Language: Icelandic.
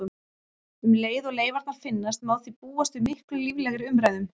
Um leið og leifarnar finnast má því búast við miklu líflegri umræðum.